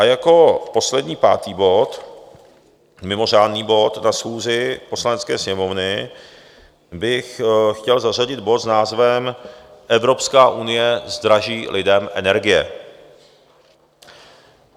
A jako poslední, pátý bod, mimořádný bod na schůzi Poslanecké sněmovny bych chtěl zařadit bod s názvem Evropská unie zdraží lidem energie.